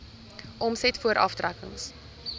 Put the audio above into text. omset voor aftrekkings